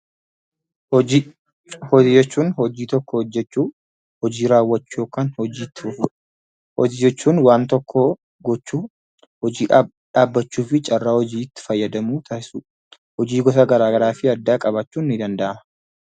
Hojii jechuun hojii tokko hojjechuu, hojii raawwachuu yookiin waan tokko gochuu dha. Hojii dhaabbachuu fi carraa hojiitti fayyadamuu dha. Hojii gosa garaa garaa qabaachuun ni danda'ama.